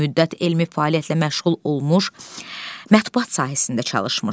Bir müddət elmi fəaliyyətlə məşğul olmuş, Mətbuat sahəsində çalışmışdı.